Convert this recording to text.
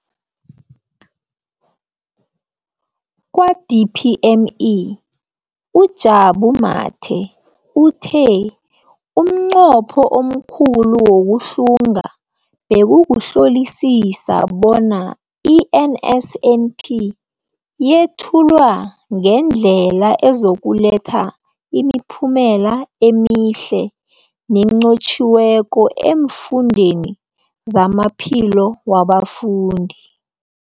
Kwa-DPME, uJabu Mathe, uthe umnqopho omkhulu wokuhlunga bekukuhlolisisa bona i-NSNP yethulwa ngendlela ezokuletha imiphumela emihle nenqotjhiweko efundweni nezamaphilo wabafundi.